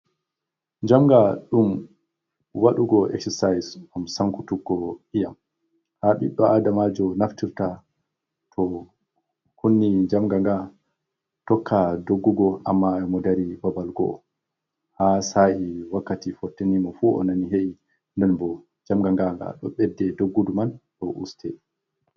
Njamnga ɗum waɗugo eksasais ngam sankutuggo ii'am, ha ɓiɗɗo Adamaajo naftirta to kunni njamnga ngaa tokka doggugo amma e mo dari babal go'o, ha sa’i wakkati fotteni mo fu, o nani he’i. Non bo, njamnga ngaa nga ɗo ɓedde doggudu man, ɗo uste.